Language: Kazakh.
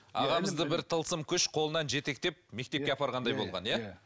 ағамызды бір тылсым күш қолынан жетектеп мектепке апарғандай болған иә иә